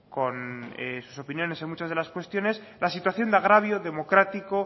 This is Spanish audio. con sus opiniones en muchas de las cuestiones la situación de agravio democrático